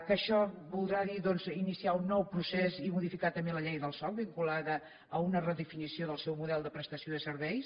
que això voldrà dir doncs iniciar un nou procés i modificar també la llei del soc vinculada a una redefinició del seu model de prestació de serveis